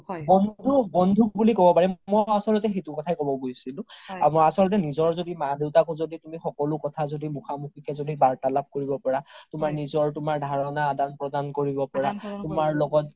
বন্ধু, বন্ধু বুলি ক্'ব পাৰিম মইও আচ্ল্তে সেইতো কথায়েই ক্'ব খোজিছিলো আমাৰ আচ্ল্তে নিজৰ য্দি মা দেউতাকও সকলো কথা মুখা মুখিকে য্দি বাৰতালাপ কৰিব পাৰা তুমাৰ নিজৰ তুমাৰ ধাৰণা আদান প্ৰদান কৰিব পাৰা তুমাৰ লগত